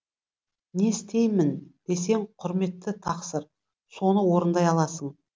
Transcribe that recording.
не істеймін десең құрметті тақсыр соны орындай аласың